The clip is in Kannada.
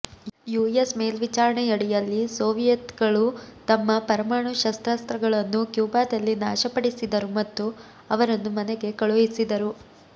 ಯುಎಸ್ ಮೇಲ್ವಿಚಾರಣೆಯಡಿಯಲ್ಲಿ ಸೋವಿಯೆತ್ಗಳು ತಮ್ಮ ಪರಮಾಣು ಶಸ್ತ್ರಾಸ್ತ್ರಗಳನ್ನು ಕ್ಯೂಬಾದಲ್ಲಿ ನಾಶಪಡಿಸಿದರು ಮತ್ತು ಅವರನ್ನು ಮನೆಗೆ ಕಳುಹಿಸಿದರು